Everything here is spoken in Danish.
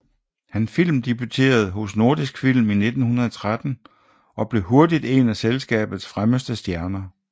Han filmdebuterede hos Nordisk Film i 1913 og blev hurtigt en af selskabets fremmeste stjerner